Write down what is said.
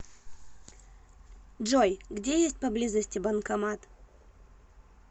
джой где есть поблизости банкомат